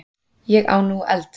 Ég á nú eld!